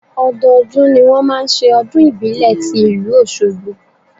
Ọdọọdún ni wọn máa ń ṣe ọdún ìbílẹ̀ ti ìlú Oṣogbo.